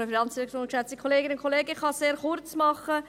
Ich kann mich kurzfassen.